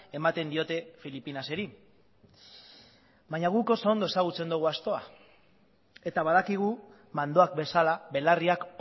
ematen diote filipinaseri baina guk oso ondo ezagutzen dugu astoa eta badakigu mandoak bezala belarriak